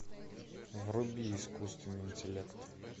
вруби искусственный интеллект